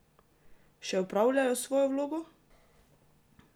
Še opravljajo svojo vlogo?